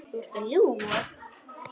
Þú ert að ljúga!